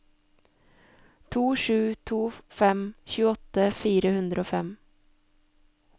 to sju to fem tjueåtte fire hundre og fem